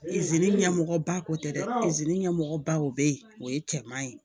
ɲɛmɔgɔba ko tɛ dɛ ɲɛmɔgɔbaw bɛ yen o ye cɛman ye